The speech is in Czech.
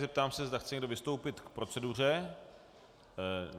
Zeptám se, zda chce někdo vystoupit k proceduře.